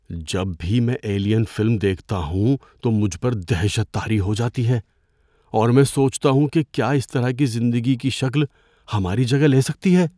جب بھی میں "ایلین" فلم دیکھتا ہوں تو مجھ پر دہشت طاری ہو جاتی ہے اور میں سوچتا ہوں کہ کیا اس طرح کی زندگی کی شکل ہماری جگہ لے سکتی ہے۔